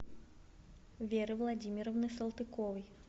веры владимировны салтыковой